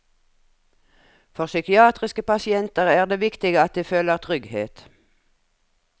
For psykiatriske pasienter er det viktig at de føler trygghet.